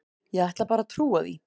Ég ætla bara að trúa því.